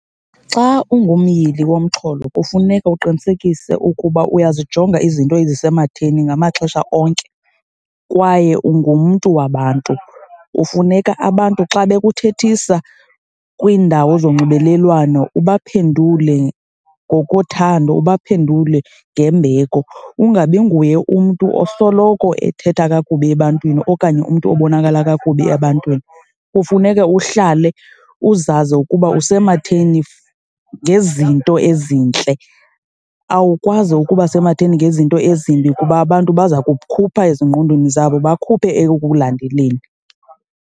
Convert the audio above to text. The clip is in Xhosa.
Xa ungumyili womxholo kufuneka uqinisekise ukuba uyozijonga izinto ezisematheni ngamaxesha onke kwaye ungumntu wabantu. Kufuneka abantu xa bekuthethisa kwiindawo zonxibelelwano ubaphendule ngokothando, uba phendule ngembeko, ungabi nguye umntu osoloko ethetha kakubi ebantwini okanye umntu obonakala kakubi ebantwini. Kufuneke uhlale uzazi ukuba usematheni ngezinto ezintle, awukwazi ukuba sematheni ngezinto ezimbi kuba abantu baza kukhupha ezingqondweni zabo, bakhuphe ekukulandeleni.